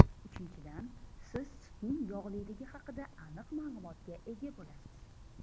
Uchinchidan, siz sutning yog‘liligi haqida aniq ma’lumotga ega bo‘lasiz.